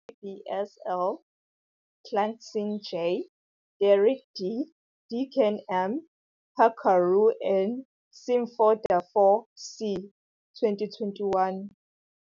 Rigby, C. L., Carlson, J., Derrick, D., Dicken, M., Pacoureau, N., Simpfendorfer, C., 2021.